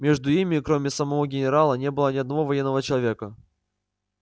между ими кроме самого генерала не было ни одного военного человека